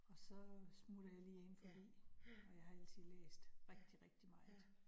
Og så smutter jeg lige ind forbi, og jeg har altid læst rigtig rigtig meget